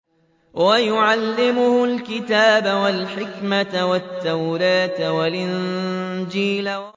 وَيُعَلِّمُهُ الْكِتَابَ وَالْحِكْمَةَ وَالتَّوْرَاةَ وَالْإِنجِيلَ